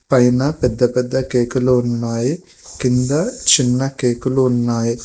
పైన పెద్ద పెద్ద కేకులు ఉన్నాయి కింద చిన్న కేకులు ఉన్నాయి.